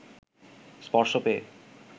স্পর্শ পেয়ে